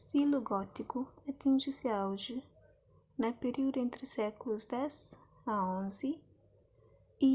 stilu gótiku atinji se auji na períudu entri sékulus x xi